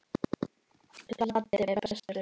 Laddi er bestur.